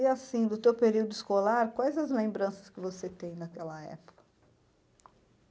E assim, do teu período escolar, quais as lembranças que você tem naquela época?